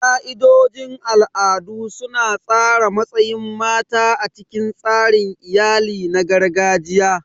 Ka'idojin al'adu su na tsara matsayin mata a cikin tsarin iyali na gargajiya.